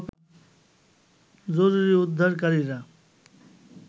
জরুরী উদ্ধারকারীরা